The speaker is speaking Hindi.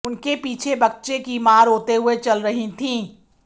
उनके पीछे बच्चे की मां रोते हुए चल रहीं थीं